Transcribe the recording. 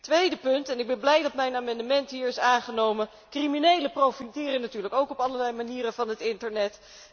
Tweede punt, en ik ben blij dat mijn amendement hier is aangenomen criminelen profiteren natuurlijk ook op allerlei manieren van het internet.